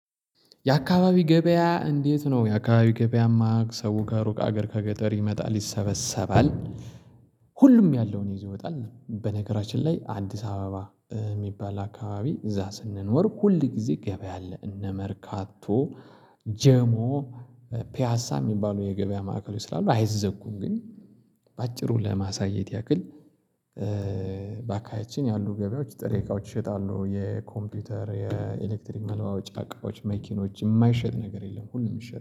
የአካባቢ ገበያ እንዴት ነው የአካባቢ ገበያማ ሰው ከሩቅ አገር ከገጠር ይመጣል ይሰበሰባል። ሁሉም ያለውን ይዞ ይወጣል በነገራችን ላይ አዲስ አበባ የሚባል አካባቢ እዛ ስንኖር ሁል ጊዜ ገበያ አለ እነ መርካቶ ጀሞ ፒያሳ የሚባሉ የገበያ ማዕከሎች ስላሉ አይዘጉም። ግን በአጭሩ ለማሳየት ያክል። ባካባቢያችን ያሉ ገበያዎች ጥሬ እቃዎች ይሸጣሉ የኮምፒውተር የኤሌክትሪክ መለዋወጫ አቃዎች መኪኖች የማይሸጥ ነገር የለም። ሁሉም ይሸጣል